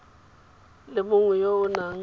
le mongwe yo o nang